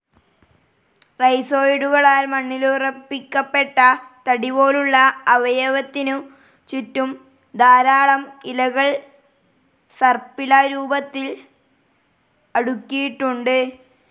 റൈസോയിഡുകളാൽ മണ്ണിലുറപ്പിക്കപ്പെട്ട തടിപോലുള്ള അവയവത്തിനു ചുറ്റും ധാരാളം ഇലകൾ സർപ്പില രൂപത്തിൽ അടുക്കിയിട്ടുണ്ട്.